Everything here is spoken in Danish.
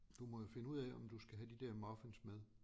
Du må jo finde ud af om du skal have de der muffins med